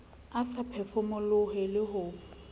a sa phefomolohe le ho